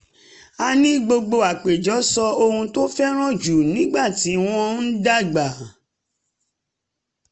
a ní gbogbo àpèjẹ sọ ohun tó fẹ́ràn jù nígbà tí wọ́n ń dàgbà